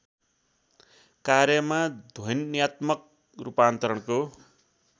कार्यमा ध्वन्यात्मक रूपान्तरणको